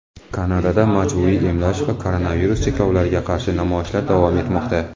Kanadada majburiy emlash va koronavirus cheklovlariga qarshi namoyishlar davom etmoqda.